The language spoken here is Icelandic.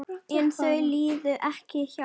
En þau liðu ekki hjá.